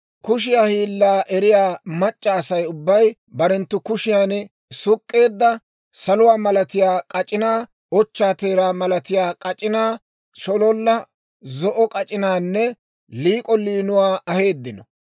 Kushiyaa hiilaa eriyaa mac'c'a Asay ubbay barenttu kushiyaan suk'k'eedda saluwaa malatiyaa k'ac'inaa, ochchaa teeraa malatiyaa k'ac'inaa, shololla zo'o k'ac'inaanne liik'o liinuwaa aheeddino.